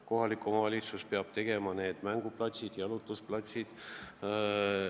Kohalik omavalitsus peab tegema mänguplatsid ja jalutuskohad.